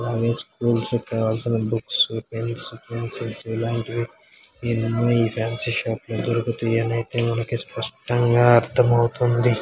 Always మేము చెప్పే అవసరం లేదు ఇలాంటివి ఏదైనా ఈ ఫ్యాన్సీ షాప్ లో దొరుకుతాయనయితే మనకి స్పష్టంగా అర్థం అవుతుంది.